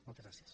moltes gràcies